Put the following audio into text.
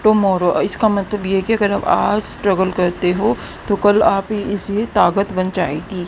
Tomorrow uh इसका मतलब ये है कि अगर आज स्ट्रगल करते हो तो कल आप इसकी ताकग बन जाएगी।